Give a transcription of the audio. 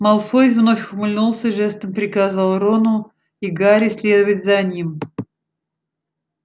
малфой вновь ухмыльнулся и жестом приказал рону и гарри следовать за ним